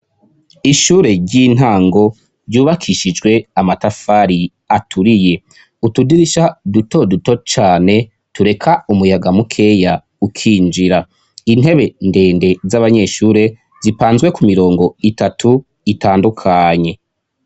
Ishure ry'intango ryubakishijwe amatafari aturiye. Utudirisha duto duto cane tureka umuyaga mukeya ukinjira. Intebe ndende z'abanyeshure zipanzwe ku mirongo itatu itandukanye.